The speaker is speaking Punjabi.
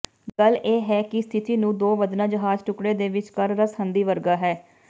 ਗੱਲ ਇਹ ਹੈ ਕਿ ਸਥਿਤੀ ਨੂੰ ਦੋ ਵਧਣਾ ਜਹਾਜ਼ ਟੁਕੜੇ ਦੇ ਵਿਚਕਾਰ ਰਸਹੰਦੀ ਵਰਗਾ ਹੈ